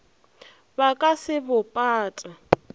ba ka se bo pate